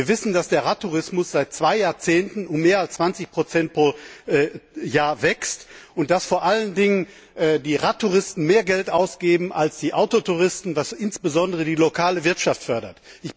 Wir wissen, dass der Radtourismus seit zwei Jahrzehnten um mehr als 20 Prozent pro Jahr wächst und dass vor allen Dingen die Radtouristen mehr Geld ausgeben als die Autotouristen, was insbesondere die lokale Wirtschaft fördert.